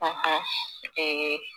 Ee